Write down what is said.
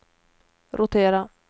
rotera